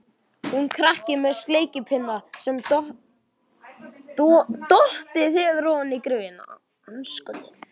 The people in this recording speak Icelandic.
Hún krakki með sleikipinna sem dottið hefur ofan í gryfjuna.